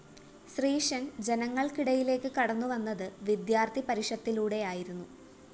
ശ്രീശന്‍ ജനങ്ങള്‍ക്കിടയിലേക്ക്‌ കടന്നുവന്നത്‌ വിദ്യാര്‍ത്ഥി പരിഷത്തിലൂടെയായിരുന്നു